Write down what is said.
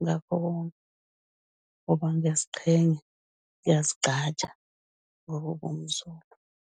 ngakho konke ngoba ngiyaziqhenya, ngiyazigqaja ngokuba umZulu.